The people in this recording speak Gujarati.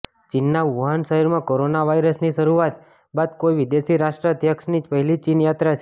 ચીનના વુહાન શહેરમાં કોરોના વાયરસની શરૂઆત બાદ કોઈ વિદેશી રાષ્ટ્રાધ્યક્ષની પહેલી ચીન યાત્રા છે